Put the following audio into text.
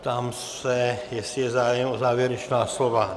Ptám se, jestli je zájem o závěrečná slova?